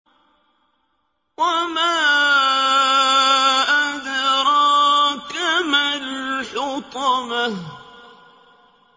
وَمَا أَدْرَاكَ مَا الْحُطَمَةُ